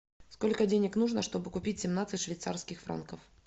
сколько денег нужно чтобы купить семнадцать швейцарских франков